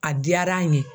A diyara an ye